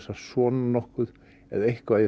að svona nokkuð eða eitthvað í